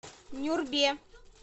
нюрбе